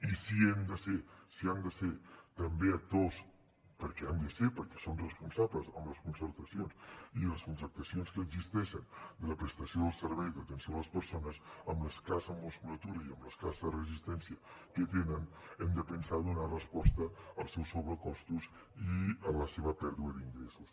i si han de ser també actors perquè n’han de ser perquè són responsables amb les concertacions i les contractacions que existeixen de la prestació dels serveis d’atenció a les persones amb l’escassa musculatura i amb l’escassa resistència que tenen hem de pensar a donar resposta als seus sobrecostos i a la seva pèrdua d’ingressos